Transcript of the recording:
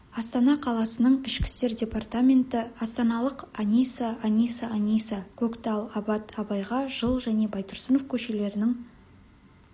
астана қаласының ішкі істер департаменті астаналық аниса аниса аниса көктал абат абайға жыл және байтұрсынов көшелерінің